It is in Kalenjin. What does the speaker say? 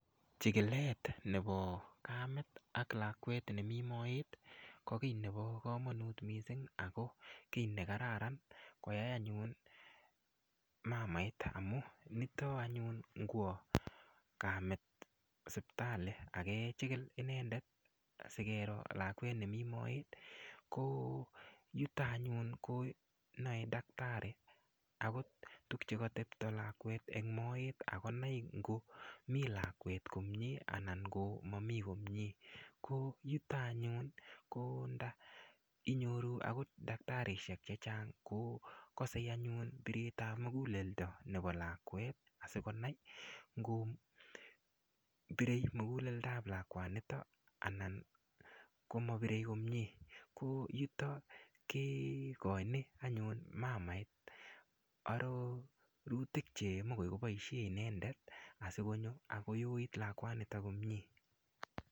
Chikilet nebo kamet ak lakwet nemi moet ko kii nebo komonut mising' ako kii nekararan koyai anyun mamait amu nito anyun ngwo kamet sipitali akechikil inendet asikero lakwet nemi moet ko yuto anyun konoei daktari akot tukyekatepto lakwet eng' moet akonai ngomi lakwet komye anan ngomami komye ko yuto anyun ko ndainyoru akot daktarishek chechang' ko kosei anyun biretab muguleldo nebo lakwet asikonai ngobirei muguleldoab lakwanito anan komabirei komye ko yuto kekoini anyun mamait arorutik cheimuch koboishe inendet asikonyo akoyoit lakwanito komyee